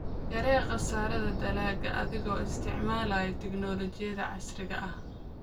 Yaree khasaaraha dalagga adiga oo isticmaalaya tignoolajiyada casriga ah.